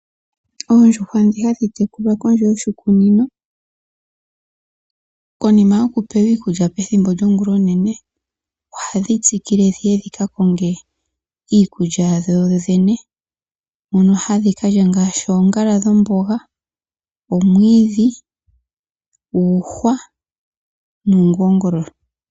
Oondjuhwa dhi hadhi tekulwa kondje yoshikunino konima yoku pewa iikulya pethimbo lyongulonene ohadhi tsikile dhika konge iikulya yadho yene. Mono hadhi kalya ngaashi oongala dhomboga, omwiidhi, uuhwa noongongololo.